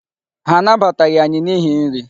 Ha anabataghị anyị n'ihi nri.